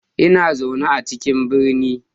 Na zauna a cikin birni